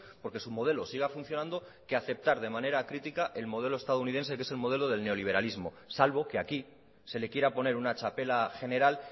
porque su modelo siga funcionando que aceptar de manera critica el modelo estadounidense que es modelo del neoliberalismo salvo que aquí se le quiera poner una txapela general